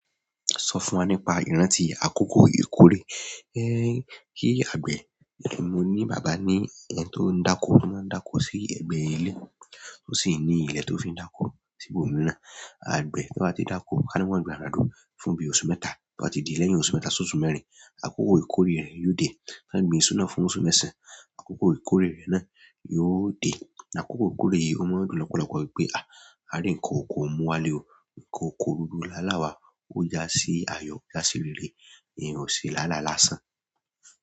Sọ fún wa nípa ìrántí akoko ìkórè. Ẹnn ṣe agbẹ? Mo ni baba ni ẹni ton dako to maa n dako si ẹgbẹ ile. O si ni ilẹ to fin daki si ibòmíràn. Àgbẹ̀ tí wọ́n bá ti dákó, ká ní wọ́n gbìn àgbàdo fún bí i oṣù mẹ́ta, tí o bá ti di lẹ́yìn oṣù mẹ́ta s'óṣù mẹ́rin, akoko ìkórè rẹ̀ yóò dé. Kán gbìn isu náà fún oṣù mẹ́sàn-án, akoko ìkórè rẹ̀ náà yóò dé. Akoko ìkórè yìí ó mọ́n dùn lọ́pọ̀lọpọ̀ wípé, à, a rí ǹkan oko mú wá lé o. Ǹkan oko gbogbo láaláa wa ó ja sí ayọ̀, ja sí rere, ẹ̀yan ò ṣe láálá lásán.